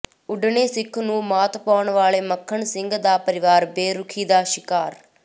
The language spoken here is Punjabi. ਉਡਣੇ ਸਿੱਖ ਨੂੰ ਮਾਤ ਪਾਉਣ ਵਾਲੇ ਮੱਖਣ ਸਿੰਘ ਦਾ ਪਰਿਵਾਰ ਬੇਰੁਖੀ ਦਾ ਸ਼ਿਕਾਰ